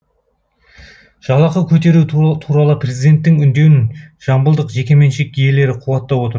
жалақы көтеру туралы президенттің үндеуін жамбылдық жекеменшік иелері қуаттап отыр